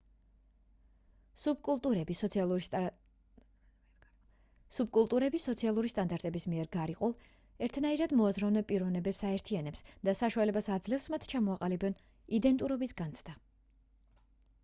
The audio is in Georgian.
სუბკულტურები სოციალური სტანდარტების მიერ გარიყულ ერთნაირად მოაზროვნე პიროვნებებს აერთიანებს და საშუალებას აძლევს მათ ჩამოაყალიბონ იდენტურობის განცდა